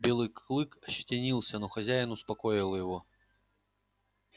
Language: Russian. белый клык ощетинился но хозяин успокоил его